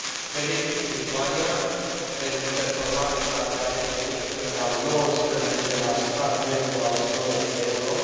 Felicit Lituania pentru performanța de a deveni cel de al nouăsprezecelea stat membru al zonei euro.